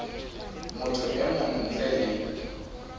motho e mong ntle le